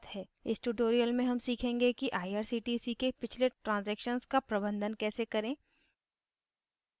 इस tutorial में हम सीखेंगे कि irctc के पिछले ट्रांज़ैक्शन का प्रबंधन कैसे करें